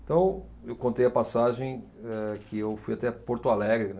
Então, eu contei a passagem, eh, que eu fui até Porto Alegre, né.